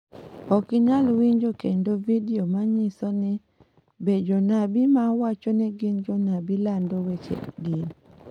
Ok inyal winjo kendo video ma nyiso ni, Be jonabi ma wacho ni gin jonabi lando weche din?